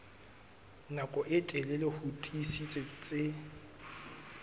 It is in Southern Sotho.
nako e telele ho tiisitse